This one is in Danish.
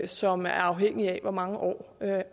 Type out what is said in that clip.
som er afhængig af hvor mange år